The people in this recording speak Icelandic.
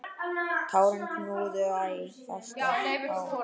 Tárin knúðu æ fastar á.